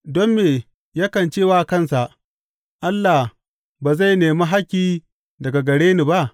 Don me yakan ce wa kansa, Allah ba zai nemi hakki daga gare ni ba?